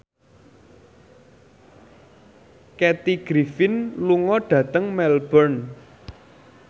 Kathy Griffin lunga dhateng Melbourne